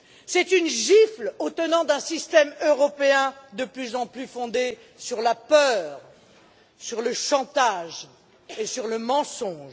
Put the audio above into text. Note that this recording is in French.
C'est une gifle aux tenants d'un système européen de plus en plus fondé sur la peur, sur le chantage et sur le mensonge.